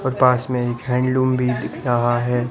और पास में एक हैंडलूम भी दिख रहा है।